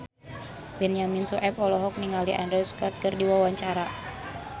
Benyamin Sueb olohok ningali Andrew Scott keur diwawancara